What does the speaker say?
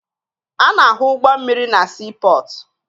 A na-ahụ ụgbọ mmiri na siipọọtụ